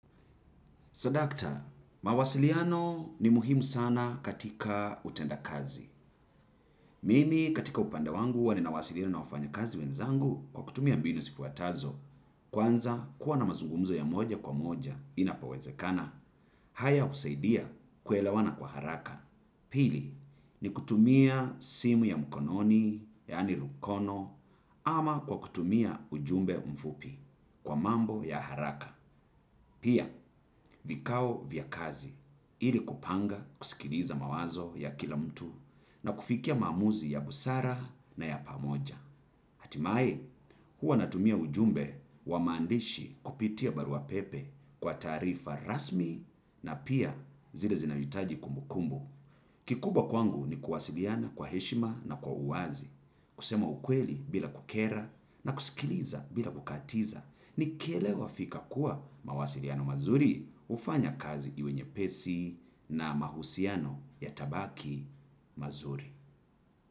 Sadakta, mawasiliano ni muhimu sana katika utenda kazi. Mimi katika upande wangu huwa ninawasiliana na wafanyakazi wenzangu kwa kutumia mbinu zifuatazo. Kwanza kuwa na mazungumzo ya moja kwa moja inapowezekana. Haya husaidia kuelewana kwa haraka. Pili, ni kutumia simu ya mkononi, yaani rukono, ama kwa kutumia ujumbe mfupi kwa mambo ya haraka. Pia, vikao vya kazi, ili kupanga kusikiliza mawazo ya kila mtu na kufikia maamuzi ya busara na ya pamoja. Hatimaye, huwa natumia ujumbe wa maandishi kupitia baruapepe kwa taarifa rasmi na pia zile zinahitaji kumbukumbu. Kikubwa kwangu ni kuwasiliana kwa heshima na kwa uwazi. Kusema ukweli bila kukera na kusikiliza bila kukatiza. Nikielewa fika kuwa mawasiliano mazuri hufanya kazi iwe nyepesi na mahusiano yatabaki mazuri.